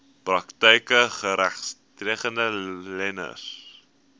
praktyke geregistreede leners